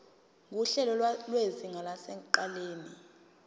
nguhlelo lwezinga lasekuqaleni